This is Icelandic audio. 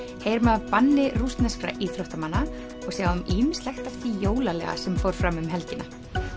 heyrum af banni rússneskra íþróttamanna og sjáum ýmislegt af því jólalega sem fór fram um helgina